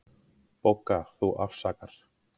BOGGA: Þú afsakar.